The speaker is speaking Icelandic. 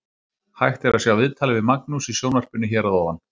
Hægt er að sjá viðtalið við Magnús í sjónvarpinu hér að ofan.